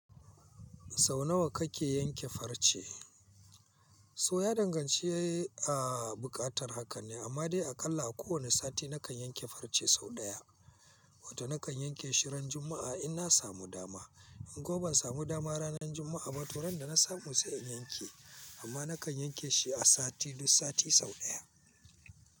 Sau nawa kake yanke farce? So ya dangance a buƙatar haka ne, amma dai aƙalla a kowane sati nakan yanke farce sau ɗaya. Wata nakan yanke shi ran Juma’a in na samu dama. In kuma ban samu dama ranar Juma’a ba, to ran da na samu sai in yanke. Amma nakan yanke shi a sati duk sati sau ɗaya.